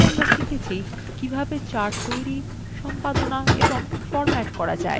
সংক্ষেপে আমরা শিখেছি কিভাবে: charts তৈরি সম্পাদনা এবং ফরম্যাট করা যায়